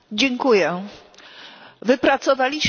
Wypracowaliśmy odpowiednią strategię.